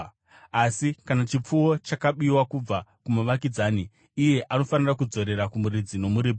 Asi kana chipfuwo chakabiwa kubva kumuvakidzani, iye anofanira kudzorera kumuridzi nomuripo.